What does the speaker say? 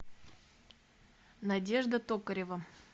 надежда токарева